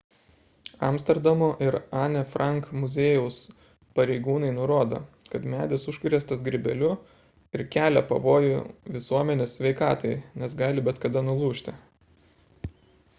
amsterdamo ir anne frank muziejaus pareigūnai nurodo kad medis užkrėstas grybeliu ir kelia pavojų visuomenės sveikatai nes gali bet kada nulūžti